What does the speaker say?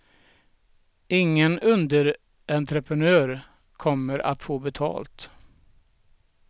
Ingen underentreprenör kommer att få betalt.